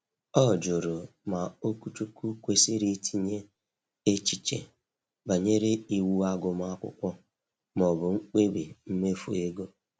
Ọ jụrụ ma okwuchukwu kwesịrị itinye echiche banyere iwu agụmakwụkwọ ma ọ bụ mkpebi mmefu ego.